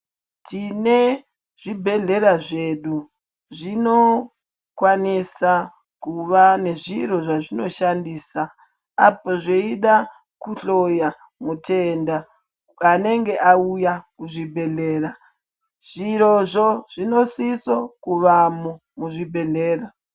Tinezvibhedhlera zvedu , zvinokwanisa kuva nezviro zvazvinoshandisa apo zveyida kuhloya mutenda anenge auya kuzvibhedhlera. Zviro zvo, zvinosiso kuvamo muzvibhedhlera.